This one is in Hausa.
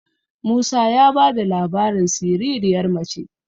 musa ya ba da labarin siririyar mace